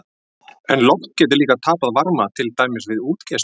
En loft getur líka tapað varma, til dæmis við útgeislun.